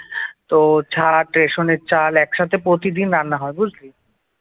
তো ছাট রেশনের চাল একসাথে প্রতিদিন রান্না হয় বুঝলি